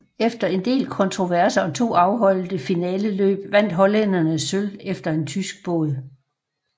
Efter en del kontroverser og to afholdte finaleløb vandt hollænderne sølv efter en tysk båd